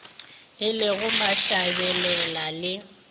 e le go mashabela le